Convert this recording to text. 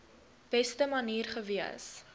beste manier gewees